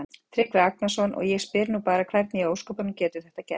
Tryggvi Agnarsson: Og ég spyr nú bara hvernig í ósköpunum getur þetta gerst?